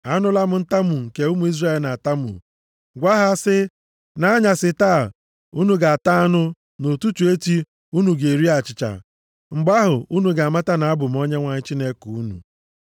“Anụla m ntamu nke ụmụ Izrel na-atamu. Gwa ha sị, ‘Nʼanyasị taa, unu ga-ata anụ, nʼụtụtụ echi unu ga-eri achịcha. Mgbe ahụ, unu ga-amata na abụ m Onyenwe anyị Chineke unu.’ ”